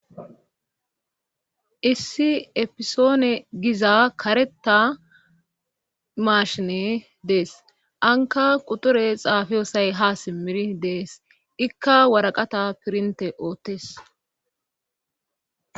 Issi efisoone giza kareta maashine dees anka quture xaafiyosay ha simmiri dees ikka waraqata pirinte oottes.